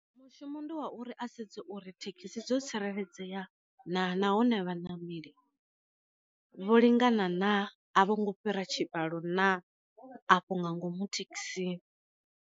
Mushumo ndi wa uri a sedze uri thekhisi dzo tsireledzea na nahone vha ṋameli vho lingana na a vho ngo fhira tshikalo na afho nga ngomu thekhisini.